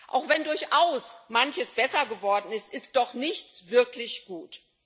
Auch wenn durchaus manches besser geworden ist, ist doch nichts wirklich gut.